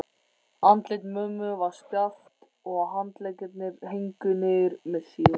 Andlit mömmu var stjarft og handleggirnir héngu niður með síðum.